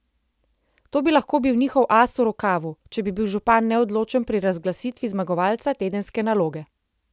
To bi lahko bil njihov as v rokavu, če bi bil župan neodločen pri razglasitvi zmagovalca tedenske naloge.